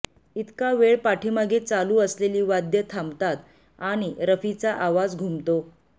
इतका वेळ पाठीमागे चालू असलेली वाद्यं थांबतात आणि रफीचा आवाज घुमतो